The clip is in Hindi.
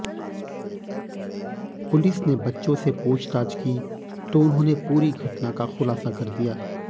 पुलिस ने बच्चों से पूछताछ की तो उन्होंने पूरी घटना का खुलासा कर दिया